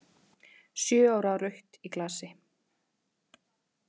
Sjö ára rautt í glasi.